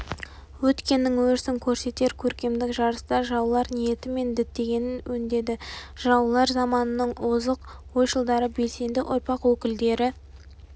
өткеннің өрісін көрсетер көркемдік жарыста жыраулар ниеті мен діттегенін өңдеді жыраулар заманының озық ойшылдары белсенді ұрпақ өкілдері